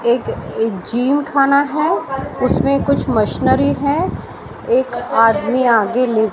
एक अ जिम खाना है उसमें कुछ मशीनरी हैं एक आदमी आगे ले--